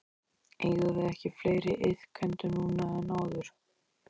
Eigum við ekki fleiri iðkendur núna en áður?